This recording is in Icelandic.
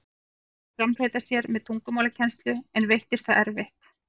Einn reyndi að framfleyta sér með tungumálakennslu, en veittist það erfitt.